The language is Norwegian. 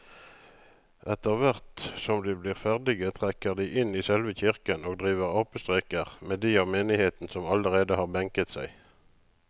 Etterthvert som de blir ferdige trekker de inn i selve kirken og driver apestreker med de av menigheten som allerede har benket seg.